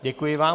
Děkuji vám.